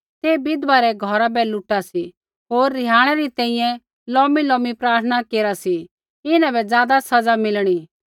ते बिधवा रै घौर बै लूटा सी होर रिहाणै री तैंईंयैं लोमीलोमी प्रार्थना केरा सी इन्हां बै ज़ादा सज़ा मिलणा